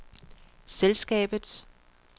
selskabets